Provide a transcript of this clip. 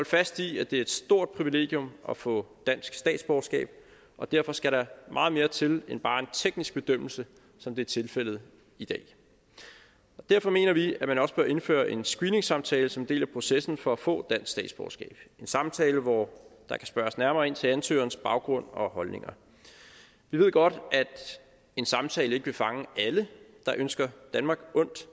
fast i at det er et stort privilegium at få dansk statsborgerskab og derfor skal der meget mere til end bare en teknisk bedømmelse som det er tilfældet i dag derfor mener vi at man også bør indføre en screeningssamtale som en del af processen for at få dansk statsborgerskab en samtale hvor der kan spørges nærmere ind til ansøgerens baggrund og holdninger vi ved godt at en samtale ikke vil fange alle der ønsker danmark ondt